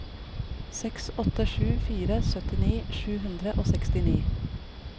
seks åtte sju fire syttini sju hundre og sekstini